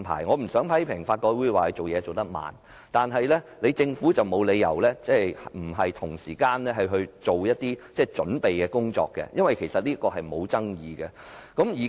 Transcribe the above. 我不想批評法改會進度緩慢，但政府沒有理由不同時進行準備工夫，因為立法是沒有爭議的。